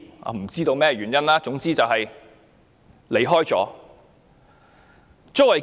我不知道箇中原因，總之有多人離世。